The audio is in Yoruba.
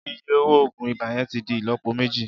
Iye owo oogun iba yẹn ti di ilọpo meji.